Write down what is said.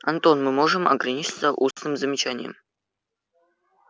антон мы можем ограничиться устным замечанием